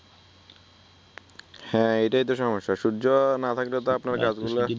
হ্যা এইটাই তো সমস্যা সুর্য্য না থাকলেতো আপনার কাজগুলা